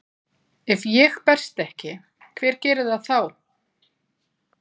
Ef ég berst ekki, hver gerir það þá?